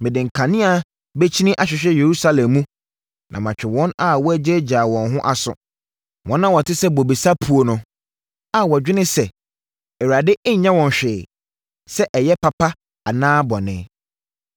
Mede nkanea bɛkyini ahwehwɛ Yerusalem mu na matwe wɔn a wɔgyaagyaa wɔn ho aso, wɔn a wɔte sɛ bobesa puo no, a wɔdwene sɛ, ‘ Awurade nnyɛ wɔn hwee sɛ ɛyɛ papa anaa bɔne.’